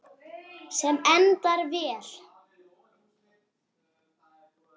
Sem endar vel.